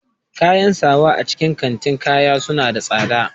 Kayan sawa a cikin kantin kaya suna da tsada